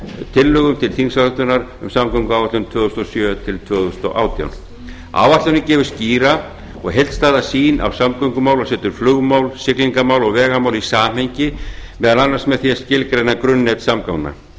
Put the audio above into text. tillögu til þingsályktunar um samgönguáætlun tvö þúsund og sjö til tvö þúsund og átján áætlunin gefur skýra og heildstæða sýn af samgöngumálum og setur flugmál siglingamál og vegamál í samhengi meðal annars með því að skilgreina grunnnet samgangna